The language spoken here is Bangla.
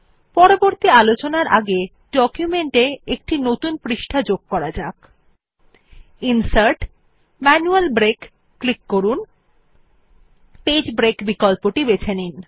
পরবর্তী আলোচনার আগে ডকুমেন্ট এ একটি নতুন পৃষ্ঠা যুক্ত করা যাক ন্সার্ট জিটিজিটি ম্যানুয়াল ব্রেক ক্লিক করুন এবং পেজ ব্রেক বিকল্পটি বেছে নিন